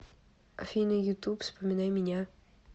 афина ютуб вспоминай меня